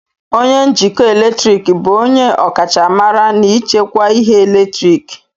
onye njikọ eletrik bụ onye ọkachamara n'ichekwa ihe eletriki